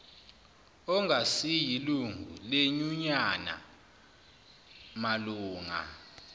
ongasiyilungu lenyunyane malunga